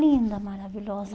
Linda, maravilhosa.